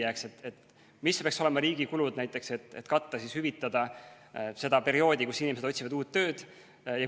Missugused peaksid olema näiteks riigi kulud, et hüvitada seda perioodi, kus inimesed otsivad uut tööd?